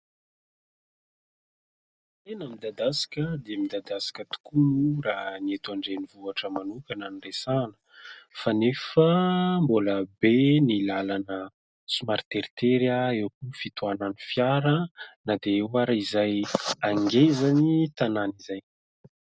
Tena midadasika dia midadasika tokoa raha ny eto an-drenivohitra manokana no resahana fa nefa mbola be ny lalana somary teritery. Eo koa ny fitohanan'ny fiara na dia eo ary izay angezan'ny tanàna izay.